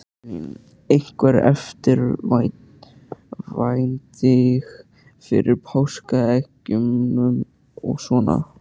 Elín: Einhver eftirvænting fyrir páskaeggjunum og svona?